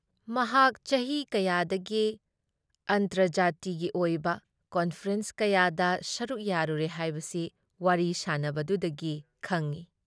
ꯃꯍꯥꯛ ꯆꯍꯤ ꯀꯌꯥꯗꯒꯤ ꯑꯟꯇꯔꯖꯥꯇꯤꯒꯤ ꯑꯣꯏꯕ ꯀꯟꯐꯔꯦꯟꯁ ꯀꯌꯥꯗ ꯁꯔꯨꯛ ꯌꯥꯔꯨꯔꯦ ꯍꯥꯏꯕꯁꯤ ꯋꯥꯔꯤ ꯁꯥꯟꯅꯕꯗꯨꯗꯒꯤ ꯈꯪꯏ ꯫